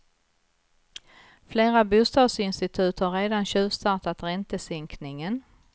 Flera bostadsinstitut har redan tjuvstartat räntesänkningen.